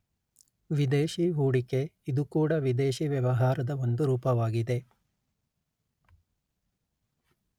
ವಿದೇಶಿ ಹೊಡಿಕೆ ಇದೂ ಕೂಡ ವಿದೇಶಿ ವ್ಯವಹಾರದ ಒಂದು ರೂಪವಾಗಿದೆ